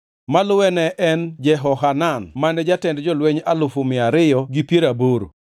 maluwe ne en Jehohanan mane jatend jolweny alufu mia ariyo gi piero aboro (280,000);